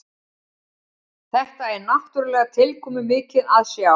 Þetta er náttúrulega tilkomumikið að sjá